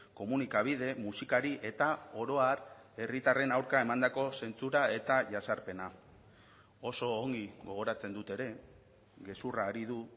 komunikabide musikari eta oro har herritarren aurka emandako zentzura eta jazarpena oso ongi gogoratzen dut ere gezurra ari du